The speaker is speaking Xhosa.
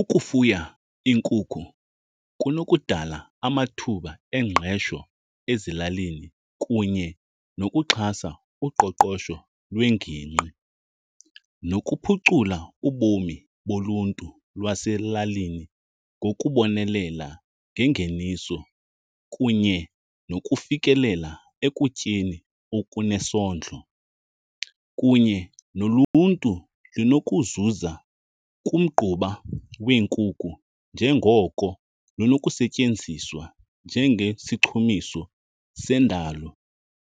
Ukufuya iinkukhu kunokudala amathuba engqesho ezilalini kunye nokuxhasa uqoqosho lwengingqi nokuphucula ubomi boluntu lwaselalini ngokubonelela ngengeniso kunye nokufikelela ekutyeni okunesondlo. Kunye noluntu linokuzuza kumgquba weenkukhu njengoko lunokusetyenziswa njengesichumiso sendalo